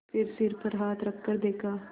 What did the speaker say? फिर सिर पर हाथ रखकर देखा